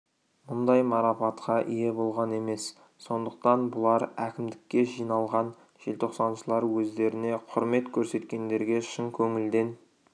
мұндай марапатқа ие болған емес сондықтан болар әкімдікке жиналған желтоқсаншылар өздеріне құрмет көрсеткендерге шын көңілден